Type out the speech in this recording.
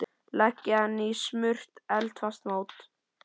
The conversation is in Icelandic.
Leggið hann í smurt eldfast mót.